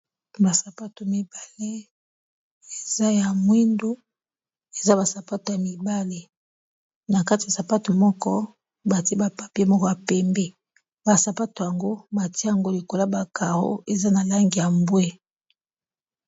Ba sapato mibale eza ya mwindu eza ba sapatu ya mibale na kati ya sapatu moko batie ba papier moko ya pembe basapato yango batie yango likola ba carro eza na langi ya mbwe.